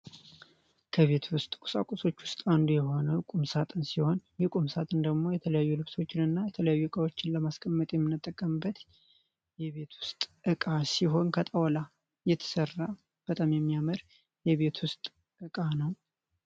ከቤት ውስጥ ቁሳቁሶች ውስጥ አንዱ የሆነው ቁም ሳጥን ሲሆን ይህ ቁምሳጥን ደግሞ የተለያዩ እቃዎችን ፣የተለያዩ ልብሶችን ለማስቀመጥ የምንጠቀምበት የቤት ውስጥ እቃ ሲሆን ከእንጨት የተሰራ በጣም የሚያምር የቤት ውስጥ እቃ ነው።